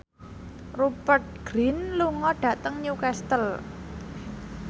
Rupert Grin lunga dhateng Newcastle